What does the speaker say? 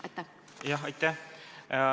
Aitäh!